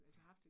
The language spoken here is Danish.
Ja